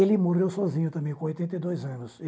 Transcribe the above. Ele morreu sozinho também, com oitenta e dois anos.